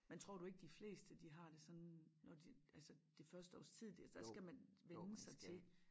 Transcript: Men tror du ikke de fleste de har det sådan når de altså det første års tid der skal man vænne sig til